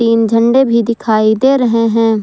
इन झंडा भी दिखाई दे रहे हैं।